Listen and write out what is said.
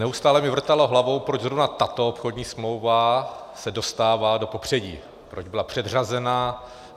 Neustále mi vrtalo hlavou, proč zrovna tato obchodní smlouva se dostává do popředí, proč byla předřazená.